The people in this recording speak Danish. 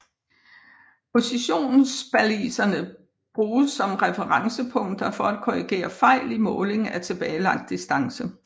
Positionsbaliserne bruges som referencepunkter for at korrigere fejl i måling af tilbagelagt distance